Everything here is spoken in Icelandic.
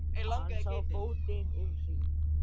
Hann sá á fótinn um hríð.